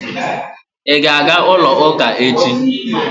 Ị ga-aga ụlọ ụka echi?